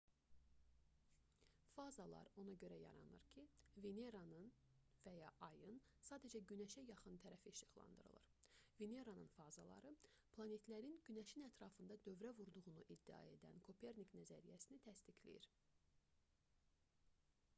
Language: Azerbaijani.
fazalar ona görə yaranır ki veneranın və ya ayın sadəcə günəşə yaxın tərəfi işıqlandırılır. veneranın fazaları planetlərin günəşin ətrafında dövrə vurduğunu iddia edən kopernik nəzəriyyəsini təsdiqləyir